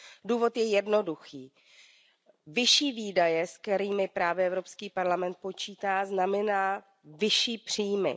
Důvod je jednoduchý, vyšší výdaje, se kterými právě Evropský parlament počítá, znamenají vyšší příjmy.